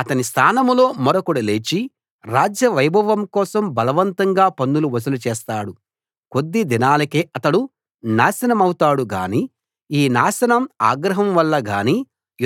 అతని స్థానంలో మరొకడు లేచి రాజ్య వైభవం కోసం బలవంతంగా పన్నులు వసూలు చేస్తాడు కొద్ది దినాలకే అతడు నాశనమౌతాడు గానీ ఈ నాశనం ఆగ్రహం వల్ల గానీ